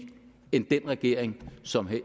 end den regering som